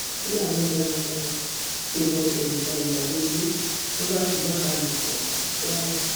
fúlàní darandaran fìbọn ṣẹ̀rù ba ìyàwó ilé ló bá fipá bá a lò pọ ní kwara